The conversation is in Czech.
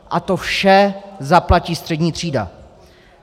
A to vše zaplatí střední třída.